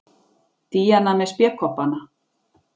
Díana með spékoppana.